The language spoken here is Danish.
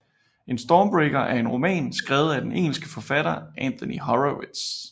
Stormbreaker er en roman skrevet af den engelske forfatter Anthony Horowitz